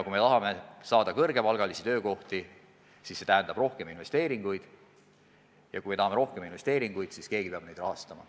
Kui me tahame tekitada kõrgepalgalisi töökohti, siis see tähendab rohkem investeeringuid, ja kui me tahame rohkem investeeringuid, siis keegi peab neid rahastama.